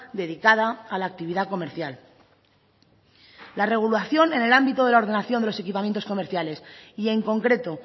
dedicada a la actividad comercial la regulación en el ámbito de la ordenación de los equipamientos comerciales y en concreto